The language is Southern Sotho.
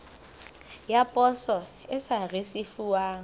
ya poso e sa risefuwang